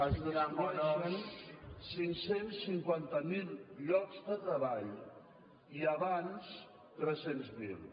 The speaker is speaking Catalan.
es destrueixen cinc cents i cinquanta miler llocs de treball i abans tres cents miler